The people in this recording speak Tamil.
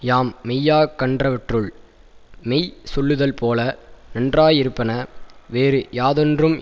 யாம் மெய்யாக் கண்டவற்றுள் மெய் சொல்லுதல்போல நன்றாயிருப்பன வேறு யாதொன்றும்